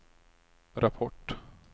rapport